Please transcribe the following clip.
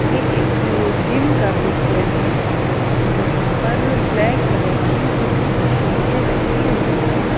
ये एक अ जिम का पिक्चर है। जहाँ पर ब्लैक कलर की कुछ मशीनें रखी हुई हैं।